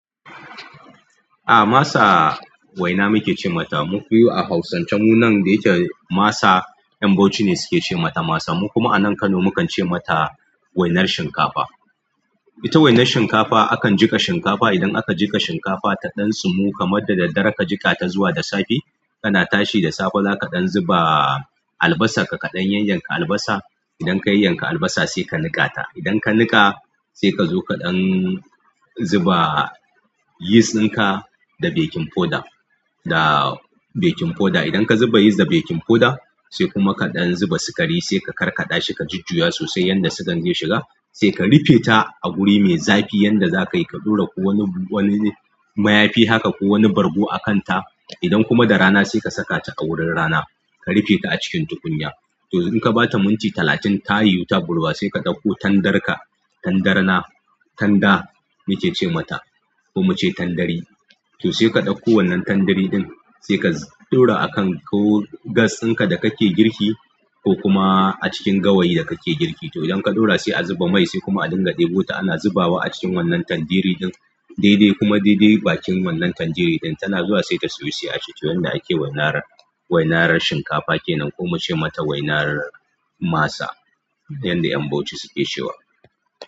A masa waina muke ce mata. Muƙuyu a hausance mu nan da ita masa yan Bauchi ne suke ce mata masa. Mu kuma anan Kano mukan ce mata wainar shinkafa. Ita wainar shinkafa akan jiƙa shinkafa. Idan aka jiƙa shinkafa ta ɗan tsumu kamar da daddare ka jiƙa ta zuwa da safe, kana tashi da safe kaɗan zuba albasa ka kaɗan yayyan ka albasa. Idan ka yayyan ka albasa sai ka niƙa ta. Idan ka niƙa sai ka zo kaɗan zuba yeast ɗinka da baking powder. Da baking powder idan ka zuba yeast da baking powder sai kuma kaɗan zuba sukari sai ka karkaɗa shi ka jujjuya sosai yanda sugan zai shiga. Sai ka rufe ta a guri mai zafi yan da za kai ka ɗora ko wani maya fi haka ko wani bargo a kanta idan kuma da rana sai ka saka ta a wurin rana. Ka rufe ta a cikin tukunya. To idan ka bata minti talatin ta yi wuta ɓurwa sai ka ɗauko tandarka tandarna tanda muke ce mata ko mace tandare. To sai ka ɗauko wannan tandari ɗin sai ka ɗora akan ko gas ɗinka da kake girki ko kuma a cikin gawayi da kake girki. To idan ka ɗora sai a zuba mai sai kuma a dinga ɗebo ta ana zubawa a cikin wannan tandiri ɗin. Daidai kuma daidai bakin wannan tandiri ɗin tana zuwa sai ta soyu sai a ci tu. Wannan ake wainar, wainar shinkafa kenan ko mace mata wainar masa yanda yan Bauchi suke cewa.